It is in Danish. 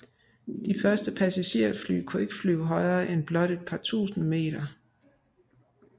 De første passagerfly kunne ikke flyve højere end blot et par tusind meter